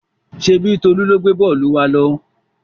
Ṣèbí Tolú ló gbé bọ́ọ́lù wa lọ?